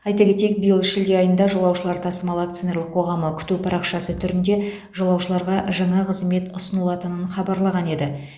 айта кетейік биыл шілде айында жолаушылар тасымалы акционерлік қоғамы күту парақшасы түрінде жолаушыларға жаңа қызмет ұсынылатынын хабарлаған еді